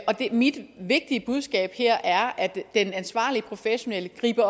og mit vigtige budskab her er at den ansvarlige professionelle